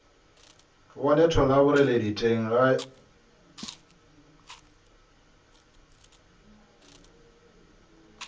bone thola boreledi teng ga